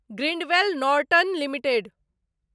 Grindwell Norton limited